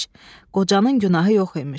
Qocanın günahı yox imiş.